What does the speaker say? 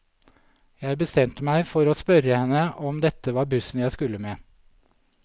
Jeg bestemte meg for å spørre henne om dette var bussen jeg skulle med.